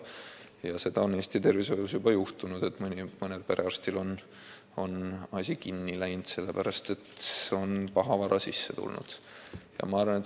Ja seda on Eesti tervishoius juba juhtunud, et mõnel perearstil on süsteem kinni jooksnud, sellepärast et pahavara on sisse tulnud.